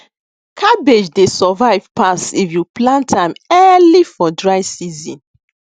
cabbage dey survive pass if you plant am early for dry season